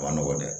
A ma nɔgɔn dɛ